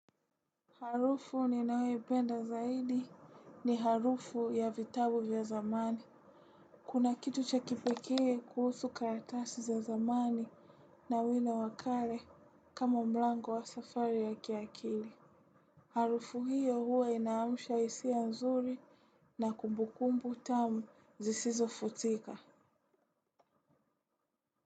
Harufu ninayoipenda zaidi ni harufu ya vitabu vya zamani. Kuna kitu cha kipekee kuhusu karatasi za zamani na wino wa kale kama mlango wa safari ya kiakili. Harufu hiyo huwa inaamsha hisia nzuri na kumbukumbu tamu zisizofutika.